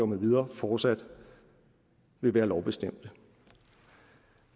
med videre fortsat vil være lovbestemt